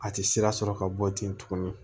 A tɛ sira sɔrɔ ka bɔ ten tugun